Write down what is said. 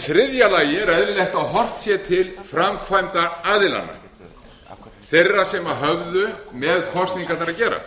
þriðja lagi er eðlilegt að horft sé til framkvæmdaraðilanna þeirra sem höfðu með kosningarnar að gera